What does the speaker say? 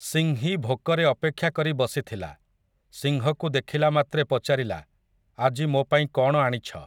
ସିଂହୀ ଭୋକରେ ଅପେକ୍ଷା କରି ବସିଥିଲା, ସିଂହକୁ ଦେଖିଲାମାତ୍ରେ ପଚାରିଲା, ଆଜି ମୋ ପାଇଁ କ'ଣ ଆଣିଛ ।